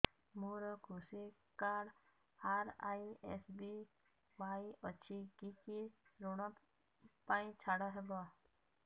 ମୋର କୃଷି card RSBY ଅଛି କି କି ଋଗ ପାଇଁ ଛାଡ଼ ହବ